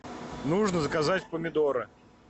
нужно заказать помидоры